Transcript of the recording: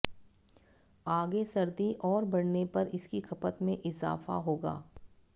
आगे सर्दी और बढऩे पर इसकी खपत में इजाफा होगा